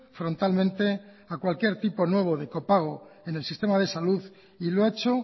frontalmente a cualquier tipo nuevo de copago en el sistema de salud y lo ha hecho